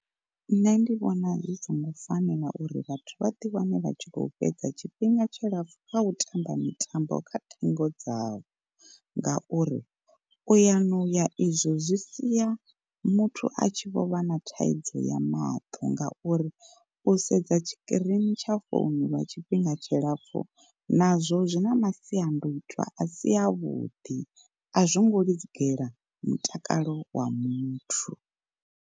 Nṋe ndi vhona zwi songo fanela uri vhathu vha ḓi wane vha tshi kho fhedza tshifhinga tshilapfu kha u tamba mitambo kha ṱhingo dzavho. Ngauri u ya noya izwo zwi siya muthu a tshi vho vha na thaidzo ya maṱo ngauri u sedza tshikirini tsha founu lwa tshifhinga tshilapfhu nazwo zwi na masiandoitwa a si avhuḓi, a zwo ngo lugela mutakalo wa muthu.